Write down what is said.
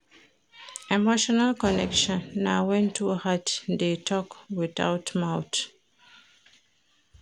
Emotional connection na wen two heart dey tok witout mouth.